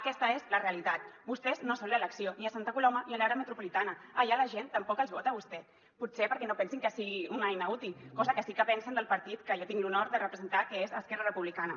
aquesta és la realitat vostès no són l’elecció ni a santa coloma ni a l’àrea metropolitana allà la gent tampoc els vota a vostès potser perquè no pensen que sigui una eina útil cosa que sí que pensen del partit que jo tinc l’honor de representar que és esquerra republicana